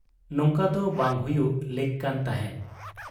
ᱱᱚᱝᱠᱟᱫᱚ ᱵᱟᱝ ᱦᱩᱭᱩᱜ ᱞᱮᱠ ᱠᱟᱱ ᱛᱟᱦᱮᱸᱫ ᱾